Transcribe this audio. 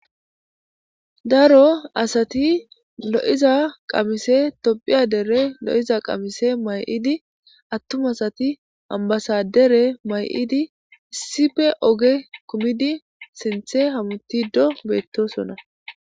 Daro asati lo7iza qamise topphiya dere lo7iza qamise may7idi attum asati ambasadere may7idi issife oge kumidi sinthe hamutido beettosonna.